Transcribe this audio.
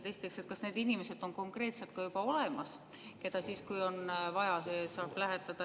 Esiteks: kas need inimesed on konkreetselt ka juba olemas, keda siis, kui on vaja, saab lähetada?